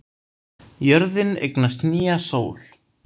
Jörðin eignast nýja sól